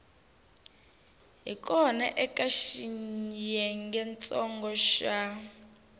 hi kona eka xiyengentsongo xa